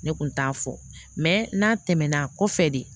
Ne kun t'a fɔ n'a tɛmɛna kɔfɛ de